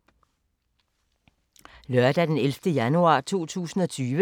Lørdag d. 11. januar 2020